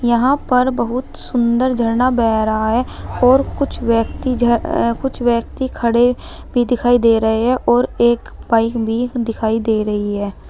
यहां पर बहुत सुंदर झरना बह रहा है और कुछ व्यक्ति कुछ व्यक्ति खड़े भी दिखाई दे रहे हैं और एक बाइक भी दिखाई दे रही है।